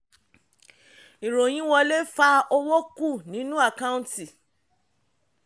ìròyìn wọlé fa owó kú nínú àkáǹtí.